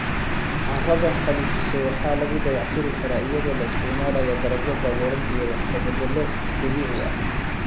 Carrada xaalufisay waxaa lagu dayactiri karaa iyadoo la isticmaalayo dalagyo daboolan iyo wax ka beddello dabiici ah.